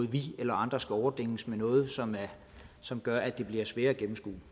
at vi eller andre skal overdænges med noget som som gør at det bliver sværere at gennemskue